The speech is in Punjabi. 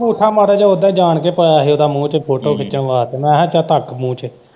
ਅੰਗੂਠਾ ਮਾੜਾ ਜੇਹਾ ਉਦਾ ਹੀ ਜਾਣ ਕੇ ਪਾਇਆ ਸੀ ਮੂੰਹ ਚ ਫੋਟੋ ਖਿੱਚਣ ਵਾਸਤੇ, ਮੈਂ ਕਿਹਾ ਚੱਲ ਰੱਖ ਮੂੰਹ ਚ।